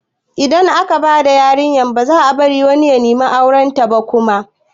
Idan aka bada yarinya baza a bari wani ya nemi aurenta ba kuma